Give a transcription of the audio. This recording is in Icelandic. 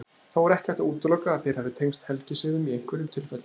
Þó er ekki hægt að útiloka að þeir hafi tengst helgisiðum í einhverjum tilfellum.